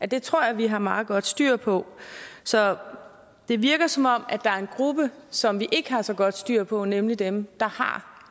det tror jeg vi har meget godt styr på så det virker som om der er en gruppe som vi ikke har så godt styr på nemlig dem der har